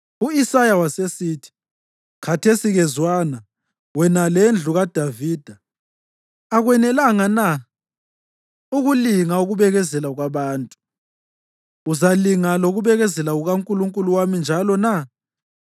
U-Isaya wasesithi, “Khathesi-ke zwana wena lendlu kaDavida. Akwenelanga na ukulinga ukubekezela kwabantu? Uzalinga lokubekezela kukaNkulunkulu wami njalo na?